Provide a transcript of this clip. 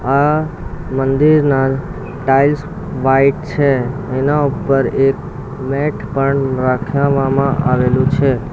આ મંદિરના tiles white છે એના ઉપર એક મેટ પણ રાખવામાં આવેલું છે.